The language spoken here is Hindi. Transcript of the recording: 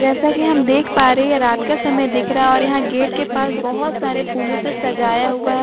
जैसा कि हम देख पा रहे हैं रात का समय दिख रहा है और यहां गेट के पास बहुत सारे फूलों से सजाया हुआ है।